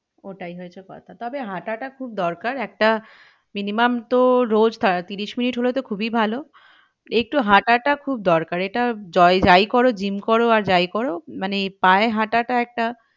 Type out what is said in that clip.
ওটাই হয়েছে কথা। তবে হাঁটাটা খুব দরকার একটা minimum তো রোজ ত্রিশ মিনিট হলে তো খুবই ভালো একটু হাঁটাটা খুব দরকার এটা যাই করো জিম করো আর যাই করো মানে পায়ে হাঁটাটা একটা,